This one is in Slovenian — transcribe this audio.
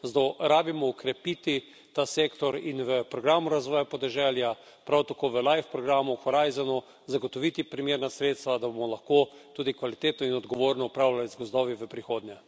Zato moramo okrepiti ta sektor in v programu razvoja podeželja, prav tako v programih LIFE in Horizon, zagotoviti primerna sredstva, da bomo lahko tudi kvalitetno in odgovorno upravljali z gozdovi v prihodnje.